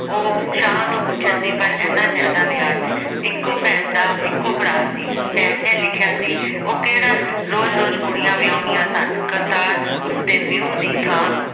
ਉਹ ਸ਼ਾਹ ਤੋਂ ਪੁੱਛਿਆ ਸੀ। ਪਰ ਏਨਾ ਜ਼ਿਆਦਾ ਵਿਆਜ ਇੱਕੋ ਭੈਣ ਦਾ ਇੱਕੋ ਭਰਾ ਸੀ। ਭੈਣ ਨੇ ਲਿਖਿਆ ਸੀ ਉਸ ਕਿਹੜਾ ਰੋਜ਼ ਰੋਜ਼ ਕੁੜੀਆਂ ਵਿਆਹੁਣੀਆਂ ਸਨ। ਕਰਤਾਰ ਉਸਦੇ ਪਿਓ ਦੀ ਥਾਂ